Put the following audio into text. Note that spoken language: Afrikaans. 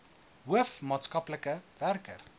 hoof maatskaplike werker